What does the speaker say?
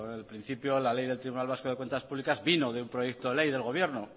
al principio la ley del tribunal vasco de cuentas públicas vino de un proyecto de ley del gobierno